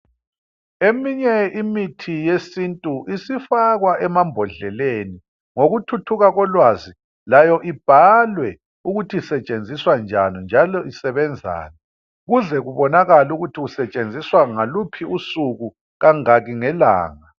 Eminye imithi yesintu isifakwa emambodleleni ngokuthuthuka kolwazi layo ibhalwe ukuthi isetshenziswa njani njalo isebenzani ukuze kubonakale ukuthi isetshenziswa ngaluphi usuku kangaki ngelanga.